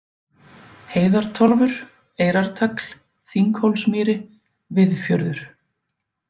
Heiðartorfur, Eyrartagl, Þinghólsmýri, Viðfjörður